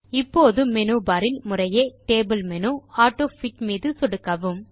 இப்போது மெனுபர் இல் முறையே டேபிள் மேனு ஆட்டோஃபிட் மீது சொடுக்கவும்